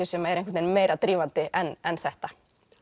sem er einhvern veginn meira drífandi en þetta